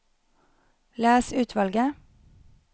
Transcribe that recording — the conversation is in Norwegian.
Les utvalget